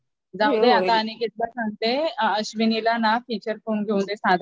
जाते आता अनिकेतला सांगते अश्विनीला ना फिचर फोन घेऊन दे साधा